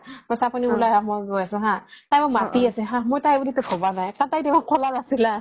কৈছে আপুনি উলাই আহক মই গৈ আছোঁ হা তাই মোক মাতি আছে হা মই তাই বুলি টো ভাবা নাই কাৰণ তাই দেখোন কলা নাছিল হা